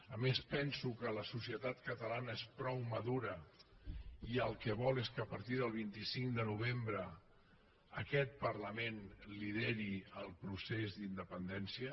a més penso que la societat catalana és prou madura i el que vol és que a partir del vint cinc de novembre aquest parlament lideri el procés d’independència